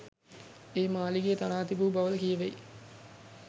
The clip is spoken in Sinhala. ඒ මාලිගය තනා තිබූ බවද කියැවෙයි.